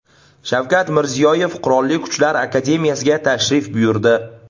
Shavkat Mirziyoyev Qurolli Kuchlar akademiyasiga tashrif buyurdi.